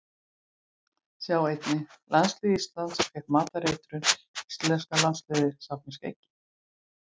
Sjá einnig: Landslið Íslands fékk matareitrun Íslenska landsliðið safnar skeggi